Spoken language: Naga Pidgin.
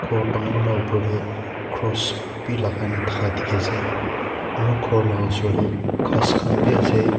gour dagur laga osor te cross bhi lagai kina thaka dekhi ase aru gour laga osor te gass khan bhi ase.